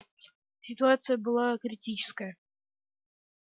ситуация была критическая